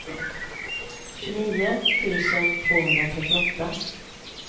tjugonio tusen tvåhundratrettioåtta